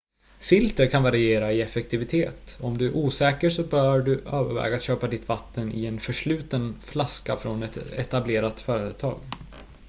filter kan variera i effektivitet och om du är osäker så bör du överväga att köpa ditt vatten i en försluten flaska från ett etablerat företag